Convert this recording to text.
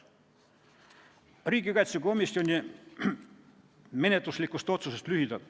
Nüüd lühidalt riigikaitsekomisjoni menetluslikust otsusest.